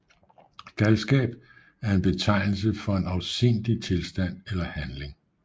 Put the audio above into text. Galskab er en betegnelse for en afsindig tilstand eller handling